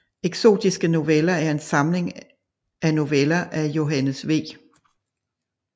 Eksotiske Noveller er en samling af noveller af Johannes V